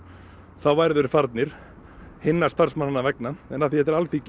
þá væru þeir farnir hinna starfsmannanna vegna en af því þetta er Alþingi